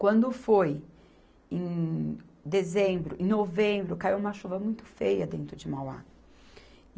Quando foi em dezembro, em novembro, caiu uma chuva muito feia dentro de Mauá.